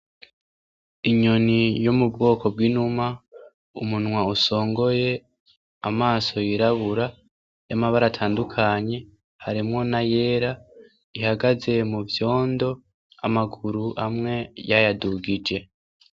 Inyoni yo mu bwoko bw'inuma, umunwa usongoye, amaso yirabura y'amabara atandukanye, harimwo n'ayera ihagaze mu vyondo amaguru amwe yayadugije.